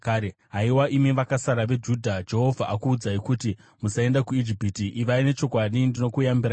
“Haiwa imi vakasara veJudha, Jehovha akuudzai kuti, ‘Musaenda kuIjipiti.’ Ivai nechokwadi: ndinokuyambirai nhasi